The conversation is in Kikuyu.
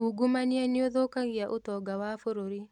Ungumania nĩũthũkagia ũtonga wa bũrũri